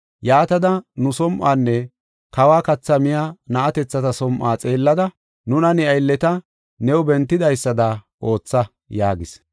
Yaatada, nu som7uwanne kawo kathaa miya na7atethata som7uwa xeellada, nuna ne aylleta new bentidaysada ootha” yaagis.